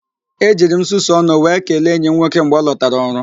E jiri m nsusu ọnụ wee kelee enyi m nwoke mgbe ọ lọtara ọrụ